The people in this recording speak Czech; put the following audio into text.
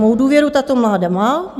Mou důvěru tato vláda má.